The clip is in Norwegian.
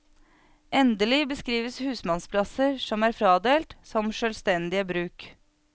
Endelig beskrives husmannsplasser som erfradelt som sjølstendige bruk.